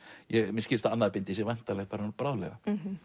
mér skilst að annað bindi sé væntanlegt bráðlega